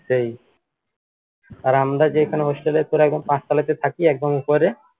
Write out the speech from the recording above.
তাই আর আমরা যেখানে hostel এ তোর একদম পাঁচ তালাতে থাকি একদম উপরে